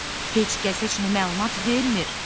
Heç kəs heç nə məlumat vermir.